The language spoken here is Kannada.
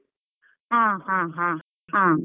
ಹಾ ಹಾ ಹಾ ಹಾ.